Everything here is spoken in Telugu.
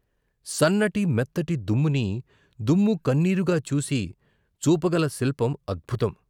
సన్నటి మెత్తటి దుమ్ముని దుమ్ము కన్నీరుగాచూసి చూపగల శిల్పం అద్భుతం.